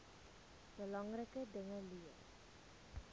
belangrike dinge leer